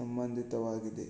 ಸಂಬಂಧಿತವಾಗಿದೆ